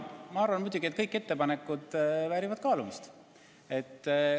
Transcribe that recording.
Ma arvan, et muidugi kõik ettepanekud väärivad kaalumist.